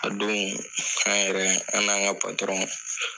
A don, an yɛrɛ an n'an ka